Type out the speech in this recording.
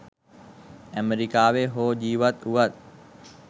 ඇමරිකාවේ හෝ ජීවත් වුවත්